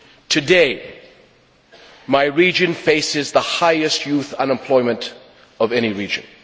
Today, my region faces the highest youth unemployment of any region.